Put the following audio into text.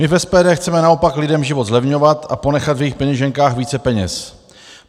My v SPD chceme naopak lidem život zlevňovat a ponechat v jejich peněženkách více peněz.